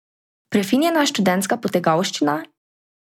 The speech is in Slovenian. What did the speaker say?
Prefinjena študentska potegavščina?